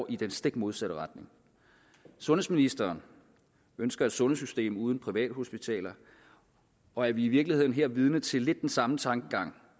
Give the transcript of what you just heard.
i den stik modsatte retning sundhedsministeren ønsker et sundhedssystem uden privathospitaler og er vi i virkeligheden her vidne til lidt den samme tankegang